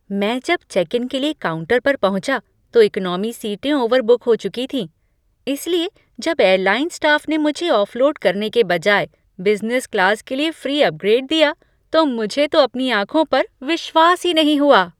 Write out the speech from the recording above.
मैं जब check in के लिए काउंटर पर पहुँचा, तो इकोनॉमी सीटें ओवरबुक हो चुकी थीं, इसलिए जब एयरलाइन स्टाफ ने मुझे ऑफलोड करने के बजाय बिज़नेस क्लास के लिए फ्री अपग्रेड दिया, तो मुझे तो अपनी आंखों पर विश्वास ही नहीं हुआ।